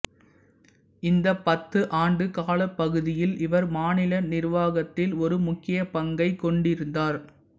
இந்த பத்து ஆண்டு காலப்பகுதியில் இவர் மாநில நிர்வாகத்தில் ஒரு முக்கிய பங்கைக் கொண்டிருந்தார்